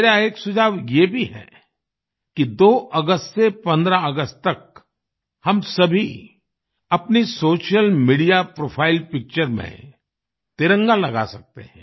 मेरा एक सुझाव ये भी है कि 2 अगस्त से 15 अगस्त तक हम सभी अपनी सोशल मीडिया प्रोफाइल पिक्चर्स में तिरंगा लगा सकते हैं